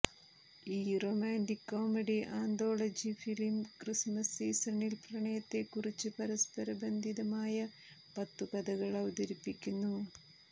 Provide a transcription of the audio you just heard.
ഈ romantic comedy anthology film christmas സീസണിൽ പ്രണയത്തെക്കുറിച്ച് പരസ്പരബന്ധിതമായ പത്തു കഥകൾ അവതരിപ്പിക്കുന്നു